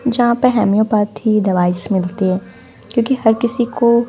यहाँ पे होम्योपैथी दवाइस मिलती हैं क्योंकि हर किसी को--